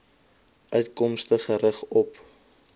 uitkomste gerig op